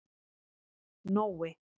Nói